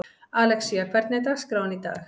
Alexía, hvernig er dagskráin í dag?